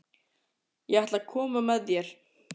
Ég ætla að koma með þér!